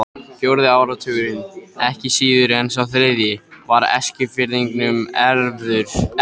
Fjórði áratugurinn, ekki síður en sá þriðji, var Eskfirðingum erfiður.